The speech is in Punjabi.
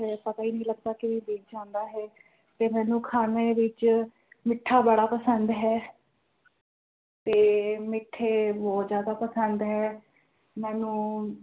ਪਤਾ ਹੀ ਨਹੀਂ ਲੱਗਦਾ ਕਿਵੇਂ ਬੀਤ ਜਾਂਦਾ ਹੈ ਤੇ ਮੈਨੂੰ ਖਾਣੇ ਵਿਚ ਮਿੱਠਾ ਬੜਾ ਪਸੰਦ ਹੈ ਤੇ ਮਿੱਠੇ ਬੋਹੋਤ ਜ਼ਿਆਦਾ ਪਸੰਦ ਹੈ ਮੈਨੂੰ